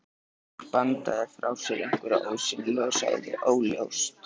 Björg bandaði frá sér einhverju ósýnilegu og sagði: Óljóst.